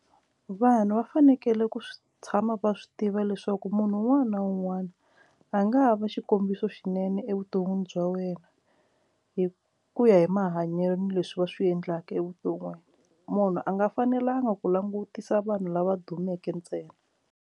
Vanhu va fanekele ku swi tshama va swi tiva leswaku munhu un'wana na un'wana a nga ha va xikombiso lexinene evuton'wini bya wena hi ku ya hi mahanyelo leswi va swi endlaka evuton'wini munhu a nga fanelanga ku langutisa vanhu lava dumeke ntsena.